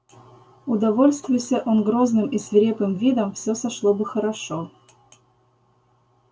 удовольствуйся он грозным и свирепым видом все сошло бы хорошо